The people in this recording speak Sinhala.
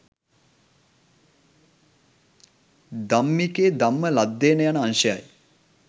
ධම්මිකෙ ධම්ම ලද්ධෙන යන අංශයයි